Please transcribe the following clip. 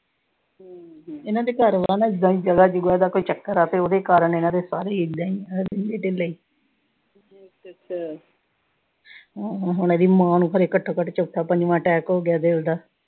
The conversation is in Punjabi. ਇਨ੍ਹਾਂ ਦੇ ਘਰ ਨਾ, ਜਗਾ ਜੁਗਾ ਦਾ ਚੱਕਰ ਆ ਤੇ ਉਹਦੇ ਕਾਰਨ ਇਨ੍ਹਾਂ ਦੇ ਸਾਰੇ ਈ ਇਦਾਂ ਈ ਰਹਿੰਦੇ ਢਿੱਲੇ। ਹਮ ਹੁਣ ਇਹਦੀ ਮਾਂ ਨੂੰ ਘਰੇ ਘੱਟੋ-ਘੱਟ ਚੌਥਾ-ਪੰਜਵਾਂ ਅਟੈਕ ਹੋਗਿਆ ਦਿਲ ਦਾ।